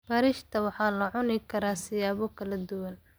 Bariishta waxaa la cuni karaa siyaabo kala duwan.